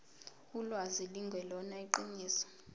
ulwazi lungelona iqiniso